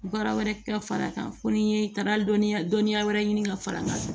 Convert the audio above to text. Baara wɛrɛ ka far'a kan fo ni ye taara dɔnniya dɔnniya wɛrɛ ɲini ka far'a kan